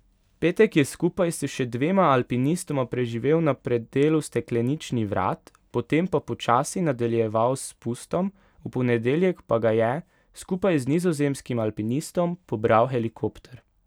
Petek je skupaj s še dvema alpinistoma preživel na predelu Steklenični vrat, potem pa počasi nadaljeval s spustom, v ponedeljek pa ga je, skupaj z nizozemskim alpinistom, pobral helikopter.